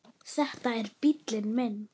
Þetta er bíllinn minn